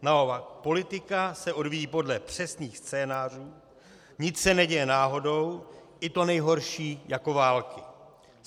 Naopak, politika se odvíjí podle přesných scénářů, nic se neděje náhodou, i to nejhorší jako války.